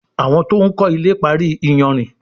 Àwọn to'n kò ilè parí iyanrìn